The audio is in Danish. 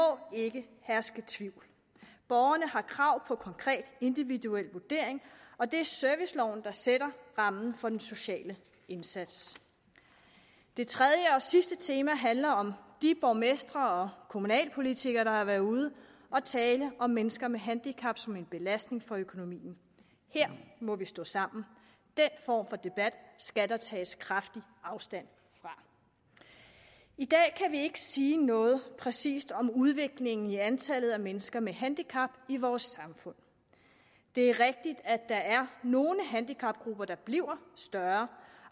ikke herske tvivl borgerne har krav på konkret individuel vurdering og det er serviceloven der sætter rammen for den sociale indsats det tredje og sidste tema handler om de borgmestre og kommunalpolitikere der har været ude og tale om mennesker med handicap som en belastning for økonomien her må vi stå sammen den form for debat skal der tages kraftigt afstand fra i dag kan vi ikke sige noget præcist om udviklingen i antallet af mennesker med handicap i vores samfund det er rigtigt at der er nogle handicapgrupper der bliver større